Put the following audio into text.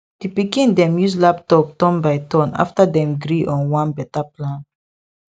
di pikin dem use laptop turn by turn after dem gree on one better plan